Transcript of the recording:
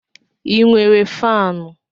ị nwere faanụ?